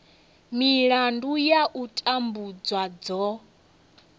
milandu ya u tambudzwa dzo